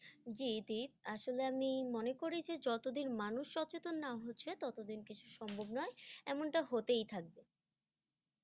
জি দীপ, আসলে আমি মনে করি যে যতদিন মানুষ সচেতন না হচ্ছে ততদিন কিছু সম্ভব নয়, এমনটা হতেই থাকবে।